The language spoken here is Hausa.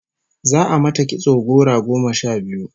Za'a mata kitso gora goma sha biyu